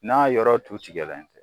N'a yɔrɔ tu tigɛlen tɛ